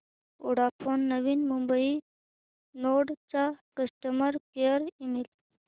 Vodafone Navi Mumbai node चा customer care email